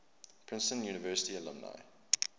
princeton university alumni